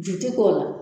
Ju ti k'o la